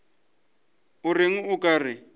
o reng o ka re